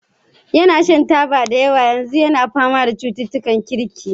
Yana shan taba da yawa kuma yanzu yana fama da cututtukan kirki.